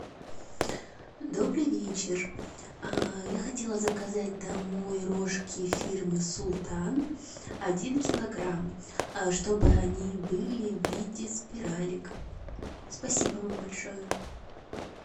добрый вечер я хотела заказать домой рожки фирмы султан один килограмм чтобы они были в виде спиралек спасибо вам большое